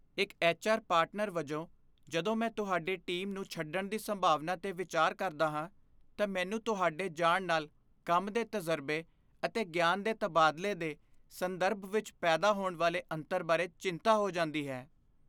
ਇੱਕ HR. Partner ਵਜੋਂ, ਜਦੋਂ ਮੈਂ ਤੁਹਾਡੇ ਟੀਮ ਨੂੰ ਛੱਡਣ ਦੀ ਸੰਭਾਵਨਾ 'ਤੇ ਵਿਚਾਰ ਕਰਦਾ ਹਾਂ, ਤਾਂ ਮੈਨੂੰ ਤੁਹਾਡੇ ਜਾਣ ਨਾਲ ਕੰਮ ਦੇ ਤਜ਼ਰਬੇ ਅਤੇ ਗਿਆਨ ਦੇ ਤਬਾਦਲੇ ਦੇ ਸੰਦਰਭ ਵਿੱਚ ਪੈਦਾ ਹੋਣ ਵਾਲੇ ਅੰਤਰ ਬਾਰੇ ਚਿੰਤਾ ਹੋ ਜਾਂਦੀ ਹੈ।